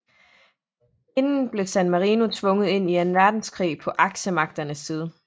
Inden blev San Marino tvunget ind i anden verdenskrig på aksemagternes side